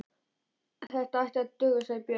Þetta ætti að duga, sagði Björn.